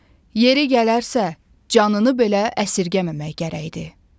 Yeri gələrsə, canını belə əsirgəməmək gərəkdir.